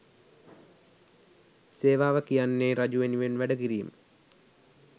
සේවාව කියන්නේ රජු වෙනුවෙන් වැඩ කිරීම